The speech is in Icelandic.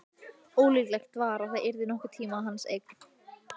Ólíklegt var að það yrði nokkurn tíma hans eign.